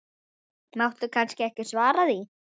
Máttu kannski ekki svara því?